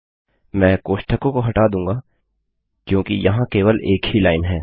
मैं कोष्ठकों को हटा दूँगा क्योंकि यहाँ केवल एक ही लाइन है